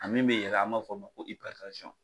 A min bɛ yɛlɛn an b'a fɔ o ma ko